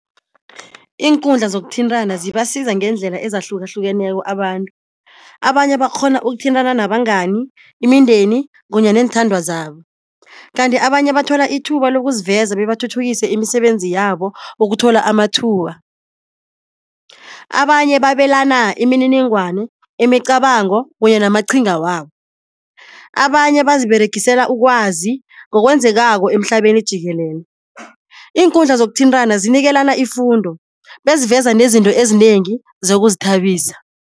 Iinkundla zokuthintana zibasiza ngendlela ezahlukahlukeneko abantu, abanye bakghona ukuthintana nabangani, imindeni kunye neenthandwa zabo. Kanti abanye bathola ithuba lokuziveza bebathuthukise imisebenzi yabo ukuthola amathuba. Abanye babelana imininingwane, imicabango kunye namaqhinga wabo. Abanye baziberegisela ukwazi ngokwenzekako emhlabeni jikelele. Iinkundla zokuthintana zinikelana ifundo beziveza nezinto ezinengi zokuzithabisa.